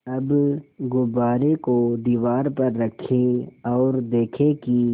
अब गुब्बारे को दीवार पर रखें ओर देखें कि